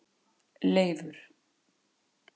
Leifur